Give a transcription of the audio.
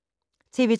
TV 2